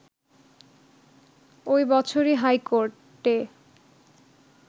ওই বছরই হাইকোর্টে